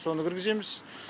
соны кіргіземіз